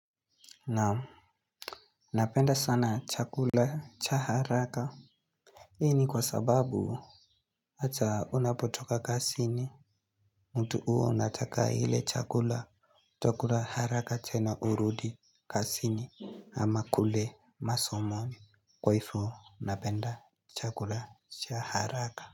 Napenda sana chakula cha haraka. Hii ni kwa sababu. Hata unapotoka kazini. Mtu huwa unataka ile chakula. Takula haraka tena urudi kazini. Ama kule masomoni. Kwa hivyo napenda chakula cha haraka.